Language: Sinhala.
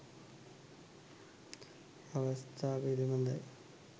අවස්ථා පිළිබඳයි